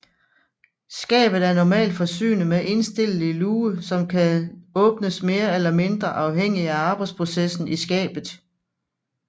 Skabet er normalt forsynet med indstillelig luge som kan åbnes mere eller mindre afhængig af arbejsprocessen i skabet